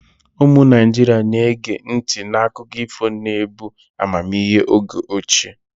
Ụmụ Naijiria na-ege ntị n'akụkọ ifo na-ebu amamihe oge ochie.